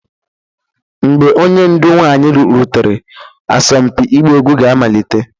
Mgbe onye ndu nwanyị rutere, asọmpi ịgba egwu ga-amalite